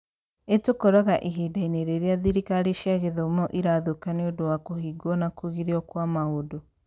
ĩtũkoraga ihinda-inĩ rĩrĩa thirikari cia gĩthomo irathũka nĩ ũndũ wa kũhingwo na kũgirio kwa maũndũ.